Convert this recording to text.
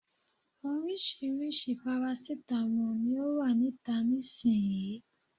Orisirisi parasitamo ni o wa nita nisiyi.